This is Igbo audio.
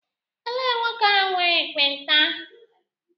Elee nwoke ahụ nwere ekpenta?